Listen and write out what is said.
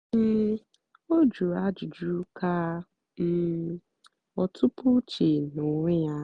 um ọ́ jụ̀rụ̀ ájụ́jụ́ kà um ọ́ tụ́pú úche n'ónwé yá.